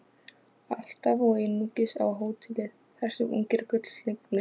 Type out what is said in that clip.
Alltaf og einungis á hótelið, þar sem ungir gullslegnir